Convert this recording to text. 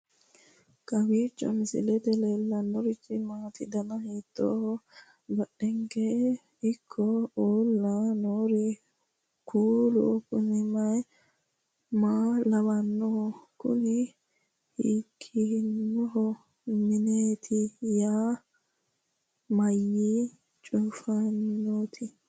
kowiicho misilete leellanorichi maati ? dana hiittooho ?abadhhenni ikko uulla noohu kuulu kuni maa lawannoho? kuni hiikkinanni mineeti mayi cufanaati